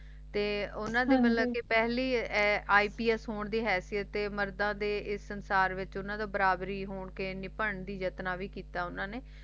ਤੇ ਉਨ੍ਹਾਂ ਦੇ ਹਾਂਜੀ ਪਹਲ IPS ਪਹਿਲੇ ਇੰਪਸ ਹੋਣ ਦੀ ਹੈਸੀਅਤ ਮਰਦਾਂ ਦੇ ਬਰਾਬਰੀ ਦੀ ਜੋਸ਼ਨ ਵੀ ਕਿੱਤਾ ਉਨ੍ਹਾਂ ਨੇ